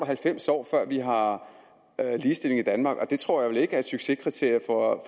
halvfems år før vi har har ligestilling i danmark og det tror jeg da ikke er et succeskriterium for